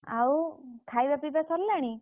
ଆଉ ଖାଇବା ପିଇବା ସରିଲାଣି?